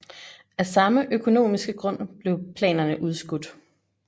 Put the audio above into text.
Af samme økonomiske grund blev planerne udskudt